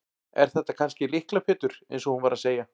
Er þetta kannski Lykla Pétur eins og hún var að segja?